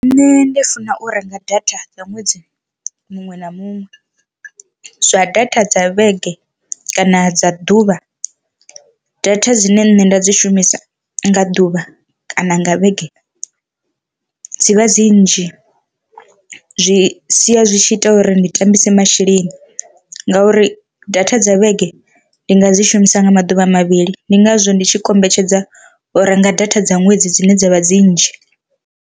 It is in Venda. Nṋe ndi funa u renga data dza ṅwedzi muṅwe na muṅwe, zwa data dza vhege kana dza ḓuvha data dzine nṋe nda dzi shumisa nga ḓuvha kana nga vhege dzivha dzi nnzhi zwi sia zwi tshi ita uri ndi tambise masheleni ngauri data dza vhege ndi nga dzi shumisa nga maḓuvha mavhili, ndi ngazwo ndi tshi kombetshedza u renga data dza ṅwedzi dzine dzavha dzi nnzhi.